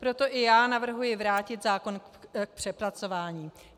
Proto i já navrhuji vrátit zákon k přepracování.